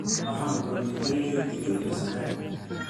waxaan guranay galley, digir iyo sarreen